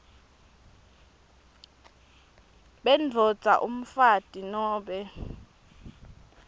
bendvodza umfati nobe